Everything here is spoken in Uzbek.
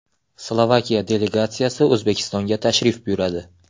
Slovakiya delegatsiyasi O‘zbekistonga tashrif buyuradi.